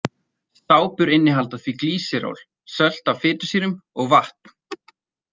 Sápur innihalda því glýseról, sölt af fitusýrum og vatn.